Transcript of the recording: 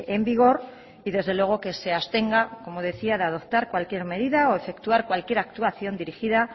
en vigor y desde luego que se abstenga como decía de adoptar cualquier medida o efectuar cualquier actuación dirigida